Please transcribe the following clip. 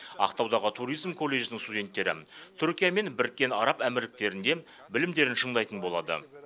ақтаудағы туризм колледжінің студенттері түркия мен біріккен араб әмірліктерінде білімдерін шыңдайтын болады